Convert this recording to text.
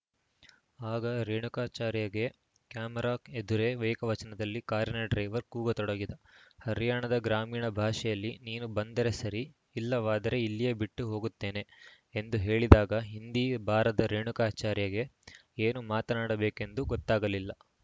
ಆಗ ರೇಣುಕಾಚಾರ್ಯಗೆ ಕ್ಯಾಮೆರಾ ಎದುರೇ ಏಕವಚನದಲ್ಲಿ ಕಾರಿನ ಡ್ರೈವರ್‌ ಕೂಗತೊಡಗಿದ ಹರ್ಯಾಣದ ಗ್ರಾಮೀಣ ಭಾಷೆಯಲ್ಲಿ ನೀನು ಬಂದರೆ ಸರಿ ಇಲ್ಲವಾದರೆ ಇಲ್ಲಿಯೇ ಬಿಟ್ಟುಹೋಗುತ್ತೇನೆ ಎಂದು ಹೇಳಿದಾಗ ಹಿಂದಿ ಬಾರದ ರೇಣುಕಾಚಾರ್ಯಗೆ ಏನು ಮಾತನಾಡಬೇಕೆಂದು ಗೊತ್ತಾಗಲಿಲ್ಲ